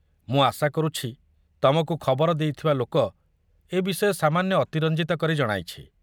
ମୁଁ ଆଶା କରୁଛି ତମକୁ ଖବର ଦେଇଥିବା ଲୋକ ଏ ବିଷୟ ସାମାନ୍ୟ ଅତିରଞ୍ଜିତ କରି ଜଣାଇଛି।